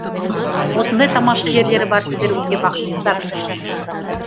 осындай тамаша жерлері бар сіздер өте бақыттысыздар